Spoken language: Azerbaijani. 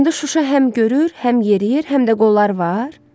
İndi Şuşa həm görür, həm yeriyir, həm də qolları var?